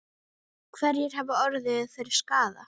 Hverjir hafa orðið fyrir skaða?